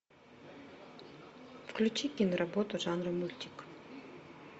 включи киноработу жанра мультик